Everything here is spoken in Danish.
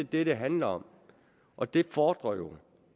det det handler om og det fordrer jo